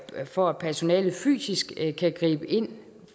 for at personalet fysisk kan gribe ind